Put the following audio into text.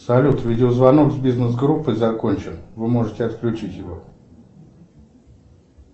салют видеозвонок с бизнес группой закончен вы можете отключить его